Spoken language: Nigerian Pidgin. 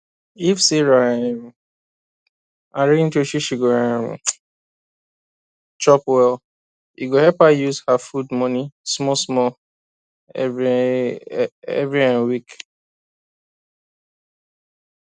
if sarah um arrange wetin she go um chop well e go help her use her food money small small every um week